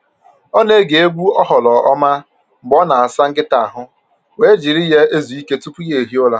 Ọ na-ege egwu oghoroma mgbe ọ na-asa nkịta ahụ wee jiri ya ezu ike tupu ya ehie ụra.